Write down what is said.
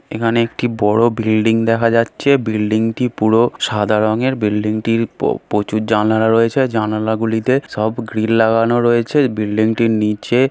এখানে একটি বড়ো বিল্ডিং দেখা যাচ্ছে বিল্ডিং -টি পুরো সাদা রঙের। বিল্ডিং -টির পো প্রচুর জানালা রয়েছে জানালা গুলিতে সব গ্রিল লাগানো রয়েছে বিল্ডিং -টির নিচে--